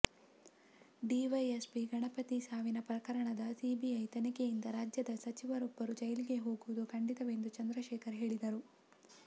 DYSP Ganapathi ಸಾವಿನ ಪ್ರಕರಣದ CBI ತನಿಖೆಯಿಂದ ರಾಜ್ಯದ ಸಚಿವರೊಬ್ಬರು ಜೈಲಿಗೆ ಹೋಗುವುದು ಖಚಿತವೆಂದು ಚಂದ್ರಶೇಖರ್ ಹೇಳಿದರು